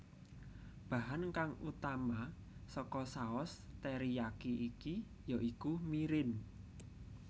Bahan kang utama saka saos teriyaki iki ya iku mirin